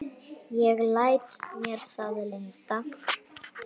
Ég læt mér það lynda.